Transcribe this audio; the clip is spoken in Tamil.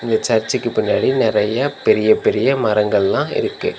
இந்த சர்ச்சுக்கு பின்னாடி நெறையா பெரிய பெரிய மரங்கள்லா இருக்கு.